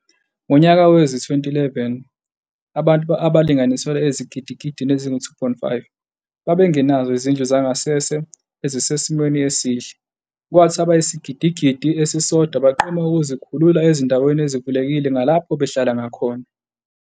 Ngonyaka wezi-2011 abantu abangalinganiselwa ezigidigidini ezingu-2.5 babengenazo izindlu zangasese ezisesimweni esihle kwathi abayisigidigidi esisodwa baqoma ukuzikhulula ezindaweni ezivulekile ngalapho behlala khona.